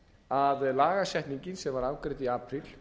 að lagasetningin sem var afgreidd í apríl